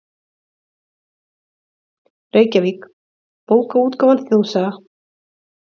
Reykjavík: Bókaútgáfan Þjóðsaga.